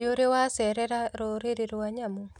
Nĩũrĩ wacerera rũriĩ rwa nyamũ?